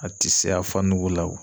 A ti se a fa nugu la